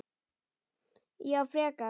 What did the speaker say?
Já, frekar.